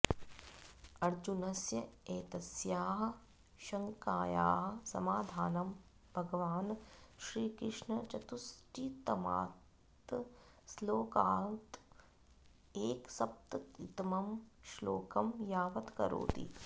अर्जुनस्य एतस्याः शङ्कायाः समाधानं भगवान् श्रीकृष्णः चतुःषष्टितमात् श्लोकात् एकसप्ततितमं श्लोकं यावत् करोति